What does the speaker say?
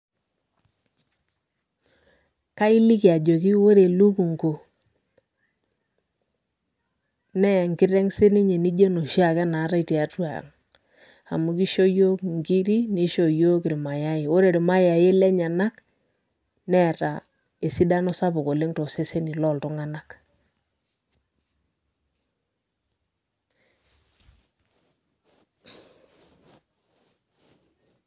Kailiki ajoki ore elukungu nee enkiteng sininye nijo enoshi ake naatae tiatua ang amu kisho yiok inkiri, nisho yiok irmayai , ore irmayai lenyenak neeta esidano sapuk oleng toseseni loltunganak .